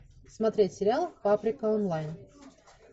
смотреть сериал паприка онлайн